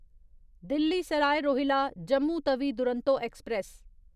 Delhi Sarai Rohilla Jammu Tawi Duronto express